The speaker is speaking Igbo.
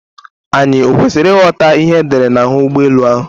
Anyị ọ kwesịrị ịghọta ihe edere n'ahụ ụgbọ elu ahụ?